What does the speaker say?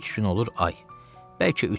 Üç gün olur ay, bəlkə üç il.